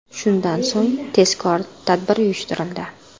Shundan so‘ng tezkor tadbir uyushtirildi.